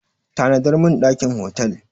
Book a hotel room for me!